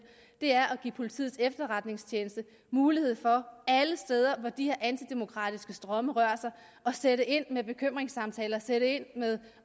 er ved at give politiets efterretningstjeneste mulighed for alle steder hvor de her antidemokratiske strømme rører sig at sætte ind med bekymringssamtaler sætte ind med